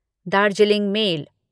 Darjeeling mail